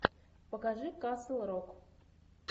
покажи касл рок